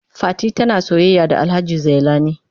Fati tana soyayya da Alhaji Zailani.